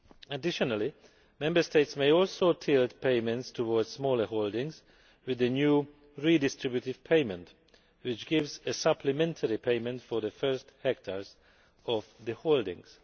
Additionally, Member States may also tilt payments towards smaller holdings with the new redistributive payment' which gives a supplementary payment for the first hectares of the holdings.